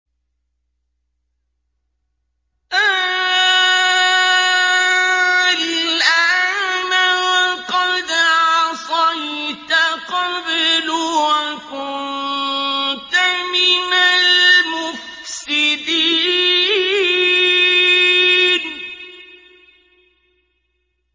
آلْآنَ وَقَدْ عَصَيْتَ قَبْلُ وَكُنتَ مِنَ الْمُفْسِدِينَ